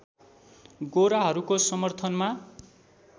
गोराहरूको समर्थनमा